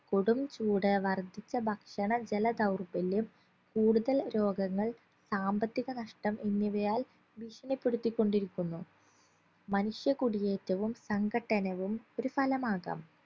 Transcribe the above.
കൊടും ചൂട് വർദ്ധിച്ച ഭക്ഷണ ജല ധൗർബല്യം കൂടുതൽ രോഗങ്ങൾ സാമ്പത്തിക നഷ്ട്ടം എന്നിവയാൽ ഭീഷണിപ്പെടുത്തിക്കൊണ്ടിരിക്കുന്നു മനുഷ്യ കുടിയേറ്റവും സങ്കട്ടനവും ഒരു ഫലമാകാം